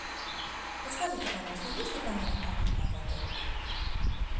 подскажите пожалуйста есть ли камера хранения в отеле